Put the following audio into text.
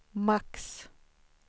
max